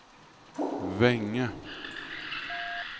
Vänge